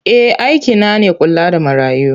Eh aikina ne kula da marayu.